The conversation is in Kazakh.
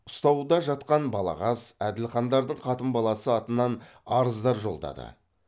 ұстауда жатқан балағаз әділхандардың қатын баласы атынан арыздар жолдады